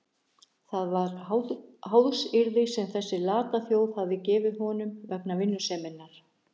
Það var háðsyrði sem þessi lata þjóð hafði gefið honum vegna vinnuseminnar.